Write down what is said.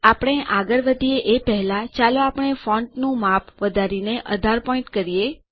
આપણે આગળ વધીએ એ પહેલા ચાલો આપણે ફોન્ટનું માપ વધારીને ૧૮ પોઈન્ટ કરીએ